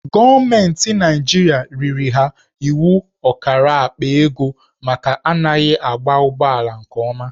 Gọọmentị Naijiria riri ha iwu ọkara akpa ego maka a nyaghị ụgbọala nke ọma.